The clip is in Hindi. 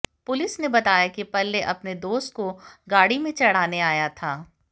पुलिस ने बताया कि प्रलय अपने दोस्त को गाड़ी में चढ़ाने आया था